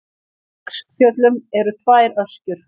Í Kverkfjöllum eru tvær öskjur.